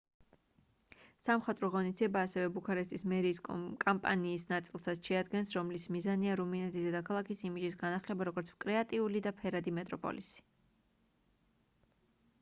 სამხატვრო ღონისძიება ასევე ბუქარესტის მერიის კამპანიის ნაწილსაც შეადგენს რომლის მიზანია რუმინეთის დედაქალაქის იმიჯის განახლება როგორც კრეატიული და ფერადი მეტროპოლისი